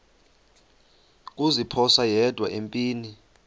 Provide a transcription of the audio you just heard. kuziphosa yedwa empini